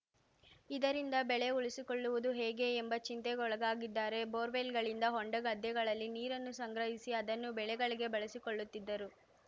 ಇದರಿಂದ ಬೆಳೆ ಉಳಿಸಿಕೊಳ್ಳುವುದು ಹೇಗೆ ಎಂಬ ಚಿಂತೆಗೆ ಒಳಗಾಗಿದ್ದಾರೆ ಬೋರ್‌ವೆಲ್‌ಗಳಿಂದ ಹೊಂಡ ಗದ್ದೆಗಳಲ್ಲಿ ನೀರನ್ನು ಸಂಗ್ರಹಿಸಿ ಅದನ್ನು ಬೆಳೆಗಳಿಗೆ ಬಳಸಿಕೊಳ್ಳುತ್ತಿದ್ದರು